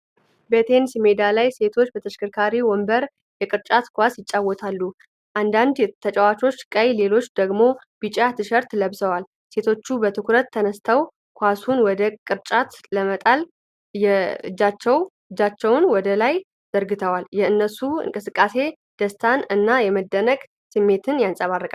በቴኒስ ሜዳ ላይ ሴቶች በተሽከርካሪ ወንበር የቅርጫት ኳስ ይጫወታሉ። አንዳንድ ተጫዋቾች ቀይ፣ ሌሎቹ ደግሞ ቢጫ ቲሸርት ለብሰዋል። ሴቶቹ በትኩረት ተነስተው ኳሱን ወደ ቅርጫት ለመጣል እጃቸውን ወደ ላይ ዘርግተዋል። የእነሱ እንቅስቃሴ ደስታን እና የመደነቅን ስሜት ያንጸባርቃል።